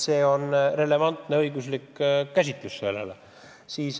See on relevantne õiguslik lähenemine sellele.